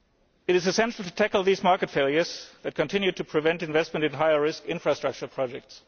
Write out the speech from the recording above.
It is essential to tackle these market failures that continue to prevent investment in higher risk infrastructure projects.